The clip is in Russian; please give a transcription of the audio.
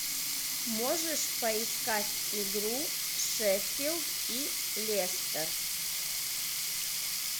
можешь поискать игру шеффилд и лестер